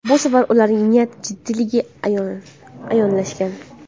Bu safar ularning niyati jiddiyligi ayonlashgan.